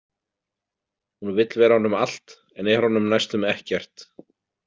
Hún vill vera honum allt en er honum næstum ekkert.